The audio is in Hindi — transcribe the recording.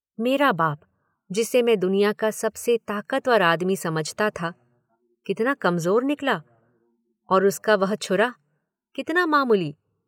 मेरा बाप, जिसे मैं दुनिया का सबसे ताकतवर आदमी समझता था, कितना कमजोर निकला, और उसका वह छुरा, कितना मामूली।